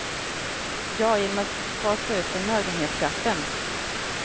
Ja, genom att fasa ut förmögenhetsskatten.